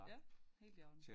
Ja helt i orden